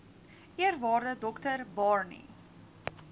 eerwaarde dr barney